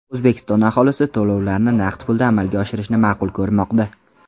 O‘zbekiston aholisi to‘lovlarni naqd pulda amalga oshirishni ma’qul ko‘rmoqda.